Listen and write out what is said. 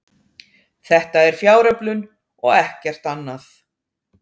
Þetta er fjáröflun og ekkert annað